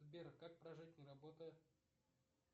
сбер как прожить не работая